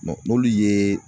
n'olu ye